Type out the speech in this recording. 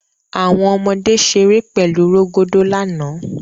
Awọn ọmọde ṣere pẹlu rogodo lana